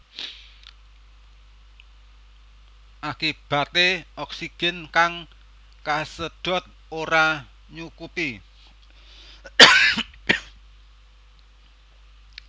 Akibaté oksigen kang kasedhot ora nyukupi